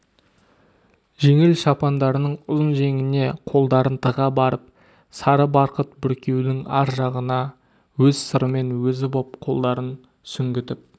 жеңіл шапандарының ұзын жеңіне қолдарын тыға барып сары барқыт бүркеудің ар жағына өз сырымен өзі боп қолдарын сүңгітіп